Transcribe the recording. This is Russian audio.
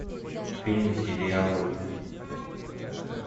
фильмы сериалы